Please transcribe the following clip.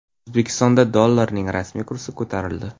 O‘zbekistonda dollarning rasmiy kursi ko‘tarildi.